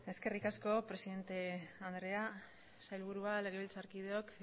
eskerrik asko presidente andrea sailburuak legebiltzarkideok